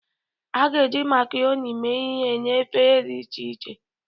A ga-eji macaroni mee ihe na efere dị iche iche.